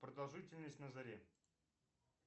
продолжительность на заре